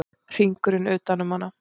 Hringurinn utan um hana.